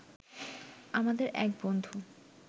আমাদের এক বন্ধু